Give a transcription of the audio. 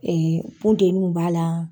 Ee bunteninw b'a la.